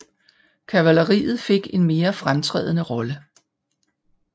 Kavaleriet fik en mere fremtrædende rolle